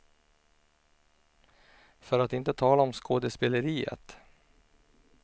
För att inte tala om skådespeleriet.